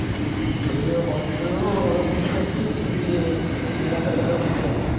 ଏଇଠି ବସିଥିଲୁ TV ପାଖରୁ ଏବେ ଉତଃଇଲି ଆଉ,